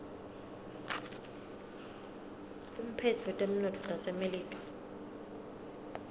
umphetsi wetemnotto wasemelika